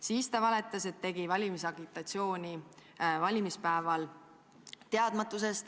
Siis ta valetas, et tegi valimispäeval valimisagitatsiooni teadmatusest.